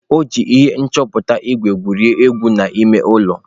O ji ihe nchọta ígwè egwuri egwu n'ime ụlọ.